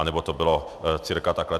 Anebo to bylo cca takhle.